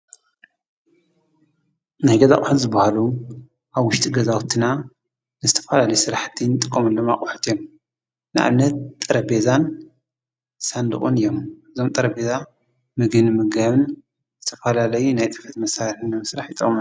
ናይ ገዛ ኣቁሑት ዝበሃሉ አብ ውሽጢ ገዛውትና ዝተፈላለዩ ስራሕቲ እንጥቀመሎም ኣቁሑት እዮም ። ንኣብነት፦ ጠረጰዛን ሳንዱቁን እዮም። ጠረጰዛ ምግቢ ንምምጋብን ዝተፈላለዩ ናይ ፅሕፈት መሳሪሒ ንምስራሕ ይጠቅሙና።